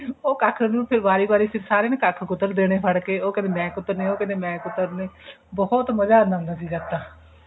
ਉਹ ਕੱਖ ਨੂੰ ਫੇਰ ਵਾਰੀ ਵਾਰੀ ਸਾਰੇ ਕੁਤਰਦੇ ਨੇ ਫੜ ਕੇ ਉਹ ਕਹਿੰਦੇ ਮੈਂ ਕੁਤਰਨੇ ਓਹ ਕਹਿੰਦੇ ਮੈਂ ਕੁਤਰਨੇ ਬਹੁਤ ਮਜ਼ਾ ਆਉਂਦਾ ਸੀ ਜਦ ਤਾਂ